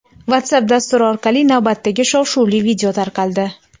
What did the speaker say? WhatsApp dasturi orqali navbatdagi shov-shuvli video tarqaldi.